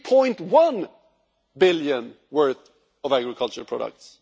3.1 billion worth of agriculture products.